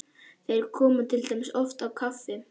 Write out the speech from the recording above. Þeir koma til dæmis oft á kaffi